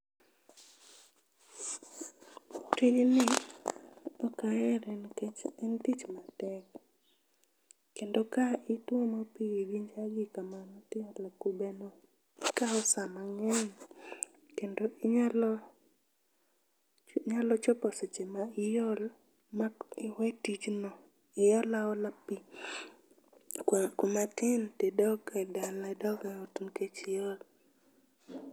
Tijni ok ahere nikech en tich matek kendo ka ituomo pi gi jage kamano tiolo e kube no, ikawo saa mang'eny. Kendo inyalo nyalo chopo seche ma iol ma iwe tijno, iol aola pi kumatin to idog e dala idog eot nikech iol.